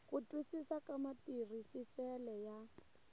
ku twisisa ka matirhisisele ya